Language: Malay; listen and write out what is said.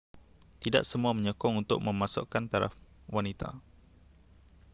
tidak semua menyokong untuk memasukkan taraf wanita